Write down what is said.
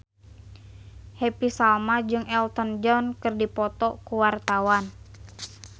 Happy Salma jeung Elton John keur dipoto ku wartawan